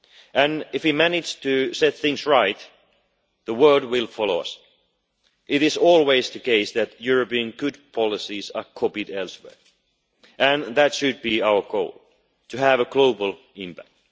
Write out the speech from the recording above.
And if we manage to set things right the world will follow us. It is always the case that good European policies are copied elsewhere, and that should be our goal, to have a global impact.